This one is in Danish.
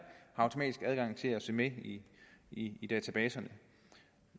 automatisk har adgang til at se med i i databaserne